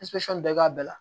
bɛɛ k'a bɛɛ la